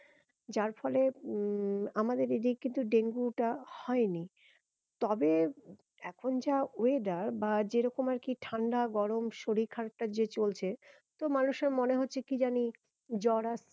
যার ফলে উম আমাদের এদিকে কিন্তু ডেঙ্গু টা হয়নি তবে এখন যা weather বা যেরকম আরকি ঠান্ডা গরম শরীর খারাপটা যে চলছে তো মানুষের মনে হচ্ছে কি জানি জ্বর